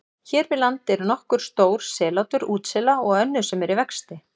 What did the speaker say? Hér við land eru nokkur stór sellátur útsela og önnur sem eru í vexti.